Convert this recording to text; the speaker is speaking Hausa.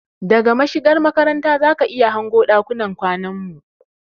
Daga mashigar makaranta zaki iya hango ɗakunan kwanan mu